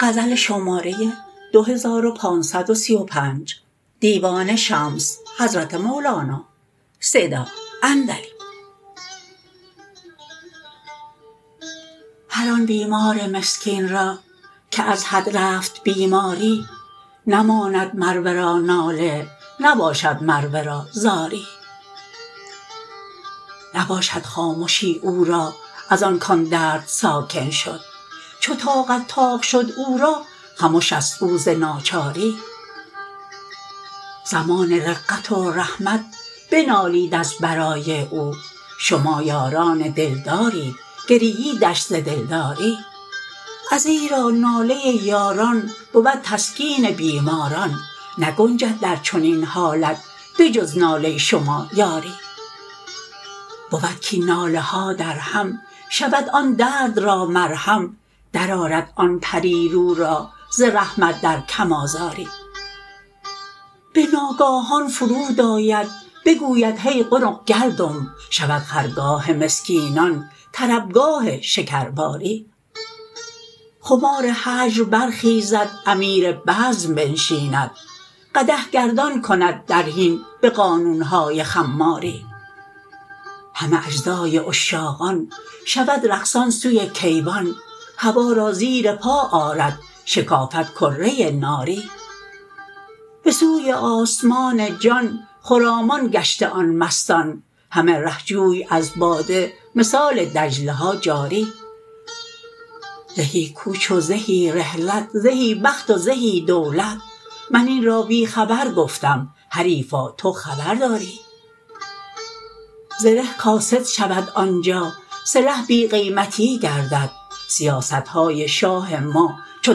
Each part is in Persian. هر آن بیمار مسکین را که از حد رفت بیماری نماند مر ورا ناله نباشد مر ورا زاری نباشد خامشی او را از آن کان درد ساکن شد چو طاقت طاق شد او را خموش است او ز ناچاری زمان رقت و رحمت بنالید از برای او شما یاران دلدارید گرییدش ز دلداری ازیرا ناله یاران بود تسکین بیماران نگنجد در چنین حالت به جز ناله شما یاری بود کاین ناله ها درهم شود آن درد را مرهم درآرد آن پری رو را ز رحمت در کم آزاری به ناگاهان فرود آید بگوید هی قنق گلدم شود خرگاه مسکینان طربگاه شکرباری خمار هجر برخیزد امیر بزم بنشیند قدح گردان کند در حین به قانون های خماری همه اجزای عشاقان شود رقصان سوی کیوان هوا را زیر پا آرد شکافد کره ناری به سوی آسمان جان خرامان گشته آن مستان همه ره جوی از باده مثال دجله ها جاری زهی کوچ و زهی رحلت زهی بخت و زهی دولت من این را بی خبر گفتم حریفا تو خبر داری زره کاسد شود آن جا سلح بی قیمتی گردد سیاست های شاه ما چو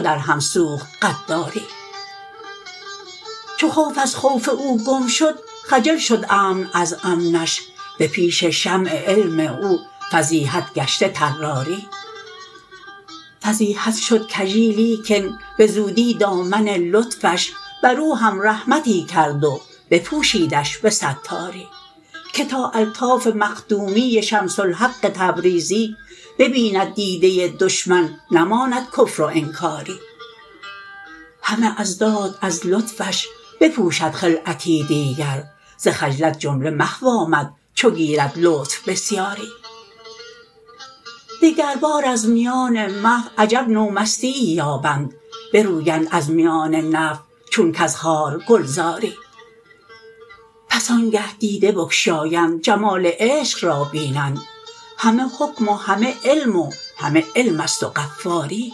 درهم سوخت غداری چو خوف از خوف او گم شد خجل شد امن از امنش به پیش شمع علم او فضیحت گشته طراری فضیحت شد کژی لیکن به زودی دامن لطفش بر او هم رحمتی کرد و بپوشیدش به ستاری که تا الطاف مخدومی شمس الحق تبریزی ببیند دیده دشمن نماند کفر و انکاری همه اضداد از لطفش بپوشد خلعتی دیگر ز خجلت جمله محو آمد چو گیرد لطف بسیاری دگربار از میان محو عجب نومستیی یابند برویند از میان نفی چون کز خار گلزاری پس آنگه دیده بگشایند جمال عشق را بینند همه حکم و همه علم و همه حلم است و غفاری